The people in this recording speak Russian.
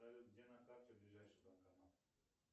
салют где на карте ближайший банкомат